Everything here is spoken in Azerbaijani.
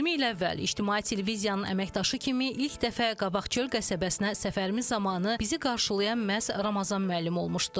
20 il əvvəl ictimai televiziyanın əməkdaşı kimi ilk dəfə Qabaqçöl qəsəbəsinə səfərimiz zamanı bizi qarşılayan məhz Ramazan müəllim olmuşdu.